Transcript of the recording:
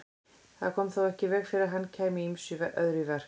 Það kom þó ekki í veg fyrir að hann kæmi ýmsu öðru í verk.